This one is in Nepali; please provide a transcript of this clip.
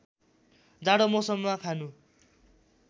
जाडो मौसममा खानु